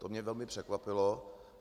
To mě velmi překvapilo.